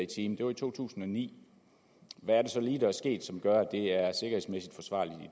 time det var i to tusind og ni hvad er det så lige der er sket som gør